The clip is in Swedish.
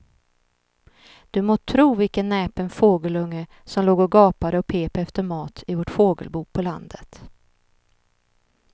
Du må tro vilken näpen fågelunge som låg och gapade och pep efter mat i vårt fågelbo på landet.